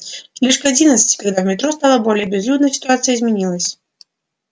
лишь к одиннадцати когда в метро стало более безлюдно ситуация изменилась